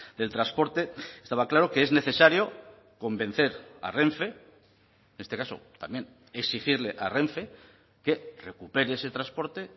del transporte estaba claro que es necesario convencer a renfe en este caso también exigirle a renfe que recupere ese transporte